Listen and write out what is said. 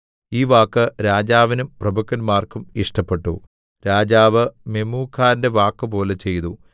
ഈ വാക്ക് രാജാവിനും പ്രഭുക്കന്മാർക്കും ഇഷ്ടപ്പെട്ടു രാജാവ് മെമൂഖാന്റെ വാക്കുപോലെ ചെയ്തു